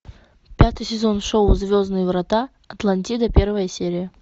пятый сезон шоу звездные врата атлантида первая серия